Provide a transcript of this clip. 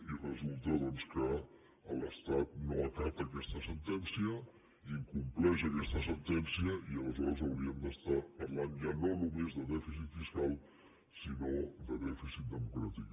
i resulta doncs que l’estat no acata aquesta sentència incompleix aques·ta sentència i aleshores hauríem d’estar parlant ja no no·més de dèficit fiscal sinó de dèficit democràtic